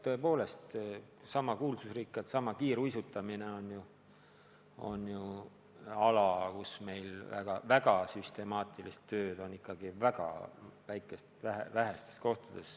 Kas või kiiruisutamine on ala, kus süstemaatilist tööd tehakse ikka väga vähestes kohtades.